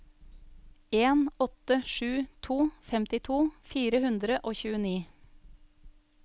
en åtte sju to femtito fire hundre og tjueni